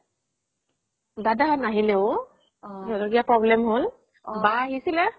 দাদা হ'ত নাহিলে ঔ সিহতৰ কিবা problem হ'ল বা আহিছিলে